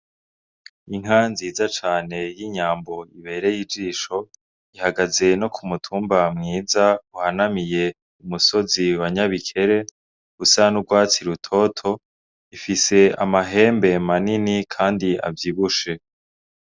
Inka nziza cane y'inyambo ibereye ijisho, ihagaze no k'umutumba mwiza uhanamiye k'umusozi wa nyabikere usa n'urwatsi rutoto, ifise amahembe manini kandi avyibushe.